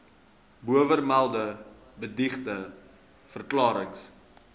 bovermelde beëdigde verklarings